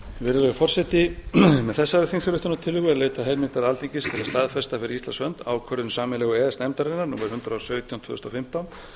virðulegi forseti með þessari þingsályktunartillögu er leitað heimildar alþingis til að staðfesta fyrir íslands hönd ákvörðun sameiginlegu e e s nefndarinnar númer hundrað og sautján tvö þúsund og fimmtán